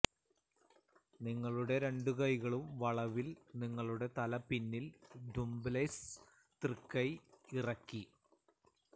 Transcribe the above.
നിങ്ങളുടെ രണ്ടുകൈകളും വളവിൽ നിങ്ങളുടെ തല പിന്നിൽ ദുംബ്ബെല്ല്സ് തൃക്കൈ ഇറക്കി